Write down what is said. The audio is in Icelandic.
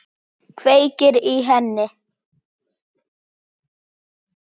Kveikir í henni.